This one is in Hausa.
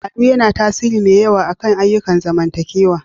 Al'adu yana da tasiri mai yawa akan ayyukan zamantakewa.